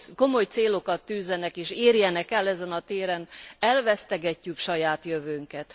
komoly célokat is tűzzenek és érjenek el ezen a téren, elvesztegetjük saját jövőnket.